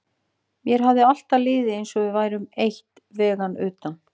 Mér hafði alltaf liðið eins og við værum eitt vegna utan